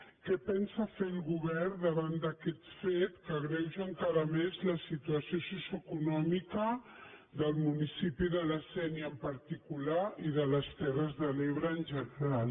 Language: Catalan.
què pensa fer el govern davant d’aquest fet que agreuja encara més la situació socioeconòmica del municipi de la sénia en particular i de les terres de l’ebre en general